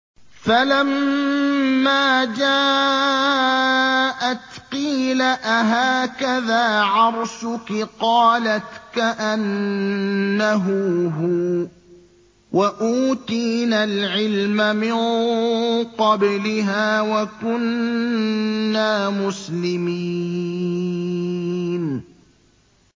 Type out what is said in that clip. فَلَمَّا جَاءَتْ قِيلَ أَهَٰكَذَا عَرْشُكِ ۖ قَالَتْ كَأَنَّهُ هُوَ ۚ وَأُوتِينَا الْعِلْمَ مِن قَبْلِهَا وَكُنَّا مُسْلِمِينَ